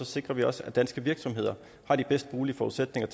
sikrer vi også at danske virksomheder har de bedst mulige forudsætninger